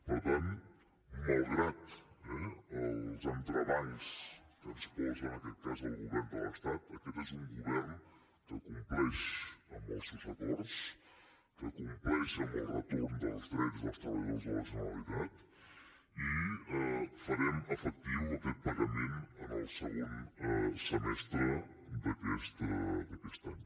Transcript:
per tant malgrat els entrebancs que ens posa en aquest cas el govern de l’estat aquest és un govern que compleix amb els seus acords que compleix amb el retorn dels drets dels treballadors de la generalitat i farem efectiu aquest pagament en el segon semestre d’aquest any